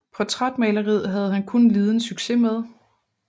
Portrætmaleri havde han kun liden succes med